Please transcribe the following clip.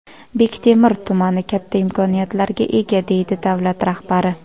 Bektemir tumani katta imkoniyatlarga ega”, deydi davlat rahbari.